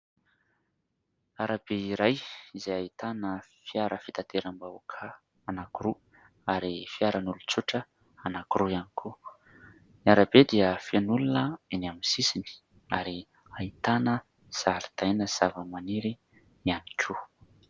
Arabe iray izay ahitana fiara fitateram-bahoaka anankiroa ary fiaran'olon-tsotra anankiroa ihany koa. Ny arabe dia feno olona eny amin'ny sisiny ary ahitana zaridaina sy zavamaniry ihany koa.